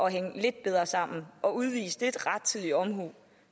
hænge lidt bedre sammen og udvise lidt rettidig omhu